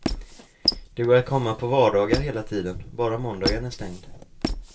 Det går att komma på vardagar hela tiden, bara måndagen är stängd.